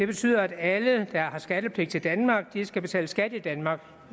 betyder at alle der har skattepligt til danmark skal betale skat i danmark